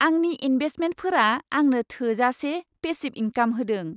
आंनि इन्भेस्टमेन्टफोरा आंनो थोजासे पेसिब इंकाम होदों।